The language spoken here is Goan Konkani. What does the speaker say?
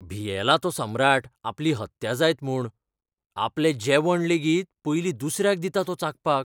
भियेला तो सम्राट आपली हत्या जायत म्हूण. आपलें जेवण लेगीत पयलीं दुसऱ्याक दिता तो चाखपाक.